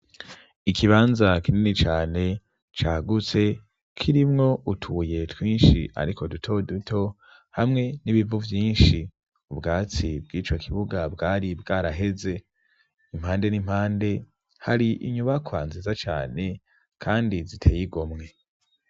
Ikibanza kinini cane cagutse kirimwo utuye twinshi, ariko duto duto hamwe n'ibivu vyinshi ubwatsi bw'ico kibuga bwari bwaraheze impande n'impande hari inyubakwa nziza cane, kandi ziteye igomwe.